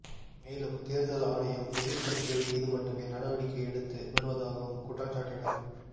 மேலும் தேர்தல் ஆணையம் எதிர்க்கட்சிகள் மீது மட்டுமே நடவடிக்கை எடுத்து வருவதாகவும் குற்றஞ்சாட்டினர்